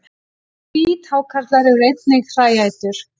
Hvíthákarlar eru einnig hræætur.